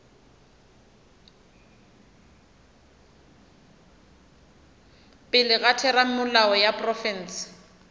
pele ga theramelao ya profense